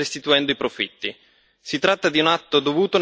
Si tratta di un atto dovuto nei confronti dei consumatori.